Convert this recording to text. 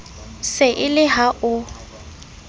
se e le ha o